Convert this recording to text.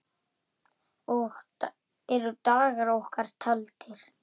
Eru dagar okkar taldir?